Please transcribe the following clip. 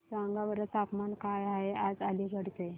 सांगा बरं तापमान काय आहे आज अलिगढ चे